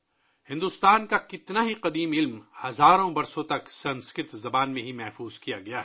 بھارت کا بہت قدیم علم سنسکرت زبان میں ہزاروں سالوں سے محفوظ ہے